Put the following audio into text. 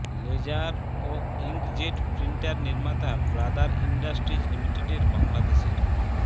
laser ও inkjet printer নির্মাতা Brother industries লিমিটেডের বাংলাদেশের